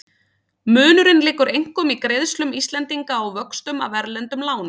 Munurinn liggur einkum í greiðslum Íslendinga á vöxtum af erlendum lánum.